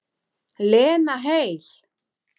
Lena heil.